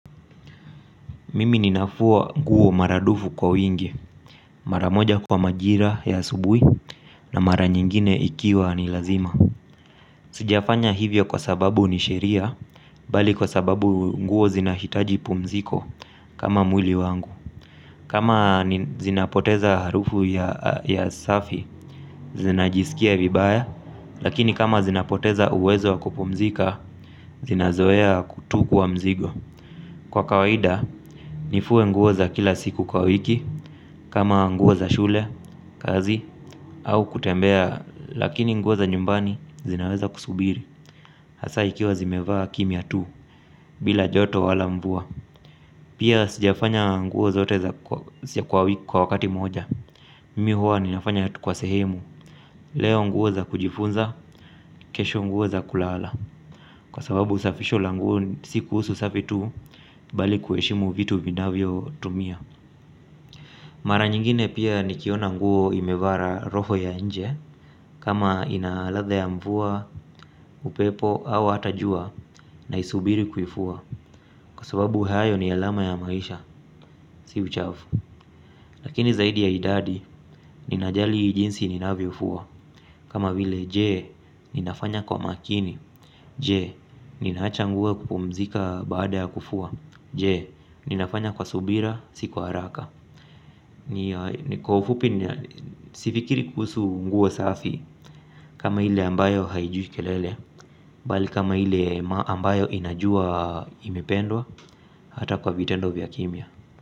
Mimi ninafua nguo maradufu kwa wingi, mara moja kwa majira ya asubuhi na mara nyingine ikiwa ni lazima. Sijafanya hivyo kwa sababu ni sheria, bali kwa sababu nguo zinahitaji pumziko kama mwili wangu. Kama zinapoteza harufu ya safi, zinajiskia vibaya, lakini kama zinapoteza uwezo kupumzika, zinazoea kutu kwa mzigo. Kwa kawaida, nifue nguo za kila siku kwa wiki, kama nguo za shule, kazi, au kutembea, lakini nguo za nyumbani zinaweza kusubiri, hasa ikiwa zimevaa kimya tu, bila joto wala mvua. Pia sijafanya nguo zote za kwa wiki kwa wakati moja, mimi huwa ninafanya kwa sehemu, leo nguo za kujifunza, kesho nguo za kulala. Kwa sababu usafisho la nguo si kuhusu usafu tu bali kuheshimu vitu vinavyotumia. Mara nyingine pia nikiona nguo imevara roho ya nje. Kama inaladha ya mvua, upepo au hata jua naisubiri kuifua. Kwa sababu hayo ni alama ya maisha, si uchafu. Lakini zaidi ya idadi, ninajali jinsi ninavyofua. Kama vile je, ninafanya kwa makini. Je, ninaacha nguo kupumzika baada ya kufua. Je, ninafanya kwa subira, si kwa haraka. Ni kwa ufupi, sifikiri kuhusu nguo safi. Kama ile ambayo haijui kelele bali kama ile ambayo inajuwa imependwa hata kwa vitendo vya kimya.